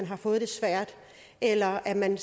har fået det svært eller at man